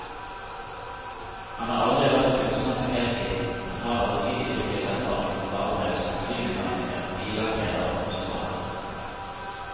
Han har aldri vært kunstner på heltid, men har allsidig yrkeserfaring og fagbrev som flymekaniker, billakkerer og husmaler.